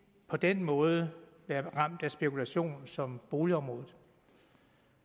på den måde være ramt af spekulation som boligområdet